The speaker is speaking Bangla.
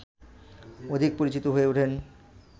অধিক পরিচিত হয়ে ওঠেন